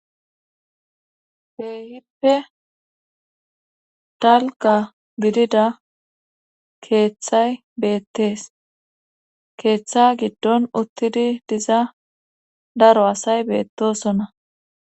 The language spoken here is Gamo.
beehippe talga gidida keeththay beettees keeththa giddon uttidi diza daro asay beettosonna